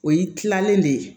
O y'i kilalen de ye